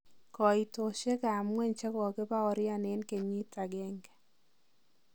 Koitosiek ab ngweny chekokibaorian en keyiit agenge.